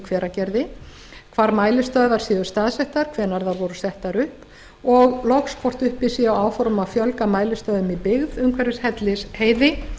hveragerði hvar mælistöðvar séu staðsettar hvenær voru þær settar upp og loks hvort uppi séu áform um að fjölga mælistöðvum í byggð umhverfis hellisheiði